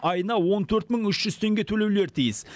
айына он төрт мың үш жүз теңге төлеулері тиіс